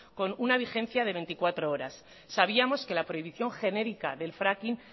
con una vigencia de veinticuatro horas sabíamos que la prohibición genérica del fracking